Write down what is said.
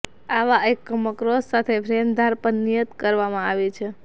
આવા એકમો કૌંસ સાથે ફ્રેમ ધાર પર નિયત કરવામાં આવે છે